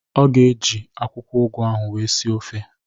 Ọ ga-eji akwụkwọ ụgụ ahụ wee sie ofe